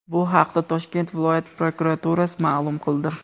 Bu haqda Toshkent viloyati prokuraturasi ma’lum qildi .